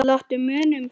Láttu muna um þig.